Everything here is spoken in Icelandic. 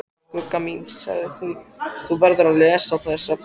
Gugga mín, sagði hún, þú verður að lesa þessa bók!